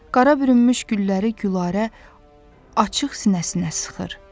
Qara bürünmüş gülləri Gülarə açıq sinəsinə sıxır.